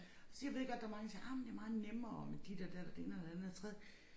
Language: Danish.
Siger ved godt der mange der siger ej men det meget nemmere med dit og dat og det ene og det andet og det tredje